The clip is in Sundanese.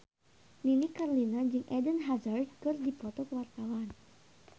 Nini Carlina jeung Eden Hazard keur dipoto ku wartawan